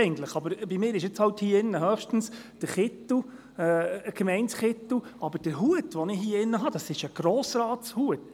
Aber bei mir ist hier höchstens der Kittel ein Gemeindekittel, doch der Hut, den ich hier im Saal trage, ist ein Grossratshut.